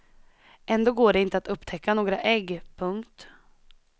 Ändå går det inte att upptäcka några ägg. punkt